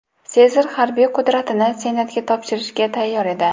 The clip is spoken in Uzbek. Sezar harbiy qudratini Senatga topshirishga tayyor edi.